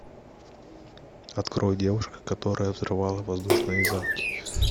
открой девушка которая взрывала воздушные замки